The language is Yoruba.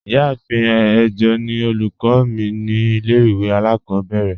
Ìyàáfín ẹ̀jọ̀ ni ọlúkọ̀ mi ni ilẹ̀-ìwé alákòbèrè.